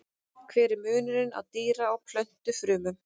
Hver er munurinn á dýra- og plöntufrumum?